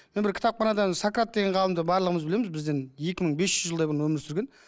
мен бір кітапханадан сократ деген ғалымды барлығымыз білеміз бізден екі мың бес жүз жылдай бұрын өмір сүрген